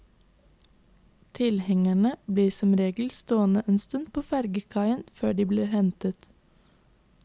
Tilhengerne blir som regel stående en stund på fergekaia før de blir hentet.